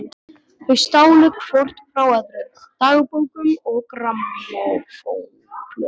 Þau stálu hvort frá öðru dagbókum og grammófónplötum.